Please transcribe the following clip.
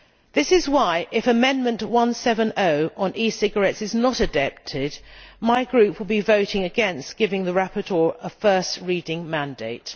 This is why, if Amendment 170 on e cigarettes is not adopted, my Group will be voting against, giving the rapporteur a first reading mandate.